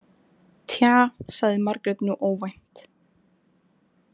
Tja, sagði Margrét nú óvænt.